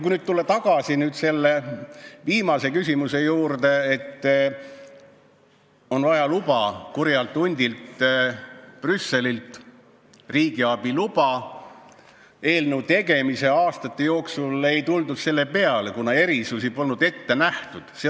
Kui tulla tagasi selle viimase küsimuse juurde, et on vaja riigiabi luba kurjalt hundilt Brüsselilt, siis eelnõu tegemise aastate jooksul ei tuldud selle peale, kuna erisusi polnud ette nähtud.